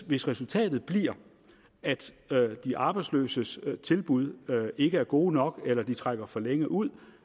hvis resultatet bliver at de arbejdsløses tilbud ikke er gode nok eller at de trækker for længe ud